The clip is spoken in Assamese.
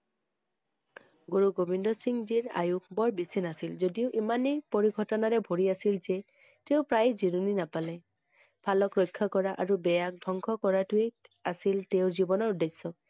গুৰু গোবিন্দ সিংহজীৰ আয়ুস বেছি নাছিল যদিও ইমানেই পৰিঘটনাৰে ভৰি আছিল যে তেওঁ প্ৰায় জিৰণি নাপালে । ভালক ৰক্ষা কৰা আৰু বেয়ক ধ্বংস কৰাটোৱেই আছিল তেওঁৰ জীৱনৰ উদেশ্য ।